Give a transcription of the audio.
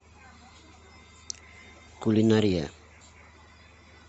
кулинария